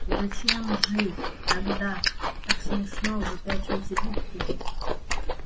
зачем же тогда так смешно выпячиваете губки